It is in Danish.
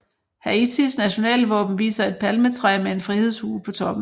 Haitis nationalvåben viser et palmetræ med en frihedshue på toppen